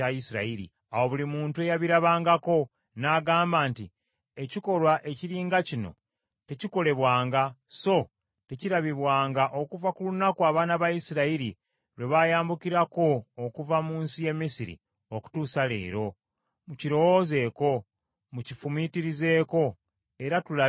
Awo buli muntu eyabirabangako n’agamba nti, “Ekikolwa ekiri nga kino tekikolebwanga so tekirabibwanga okuva ku lunaku abaana ba Isirayiri lwe baayambukirako okuva mu nsi y’e Misiri n’okutuusa leero. Mukirowoozeeko, mukifumiitirizeeko era tulabe eky’okukola.”